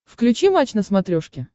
включи матч на смотрешке